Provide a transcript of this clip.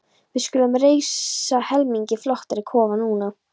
Við skulum reisa helmingi flottari kofa núna.